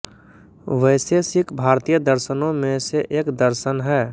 वैशेषिक भारतीय दर्शनों में से एक दर्शन है